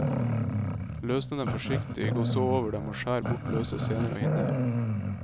Løsne dem forsiktig, gå så over dem og skjær bort løse sener og hinner.